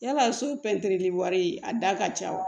Yala so pɛntiri wari a da ka ca wa